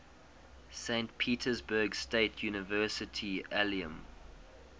saint petersburg state university alumni